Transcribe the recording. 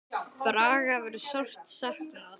Braga verður sárt saknað.